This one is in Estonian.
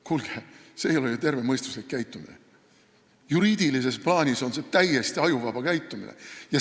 Kuulge, see ei ole ju tervemõistuslik käitumine, juriidilises plaanis on see täiesti ajuvaba käitumine.